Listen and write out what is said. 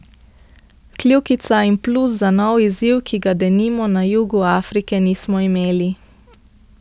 Kljukica in plus za nov izziv, ki ga denimo na jugu Afrike nismo imeli.